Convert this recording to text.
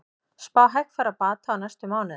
Spá hægfara bata á næstu mánuðum